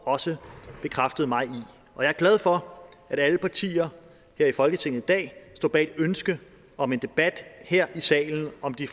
også bekræftet mig i og jeg er glad for at alle partier her i folketinget i dag står bag ønsket om en debat her i salen om de